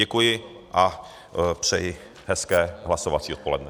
Děkuji a přeji hezké hlasovací odpoledne.